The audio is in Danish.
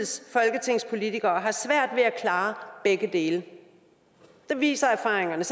har svært ved at klare begge dele det viser erfaringerne